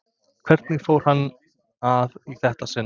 Hvernig fór hann að í þetta sinn?